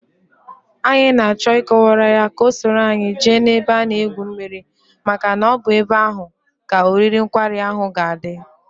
Anyị n'achọ ị kọwaara ya ka o soro anyi jee n'ebe a na egwu mmiri maka na ọbụ ebe ahụ ka oriri nkwari ahụ ga adị